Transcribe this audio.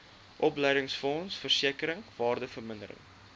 opleidingsfonds versekering waardevermindering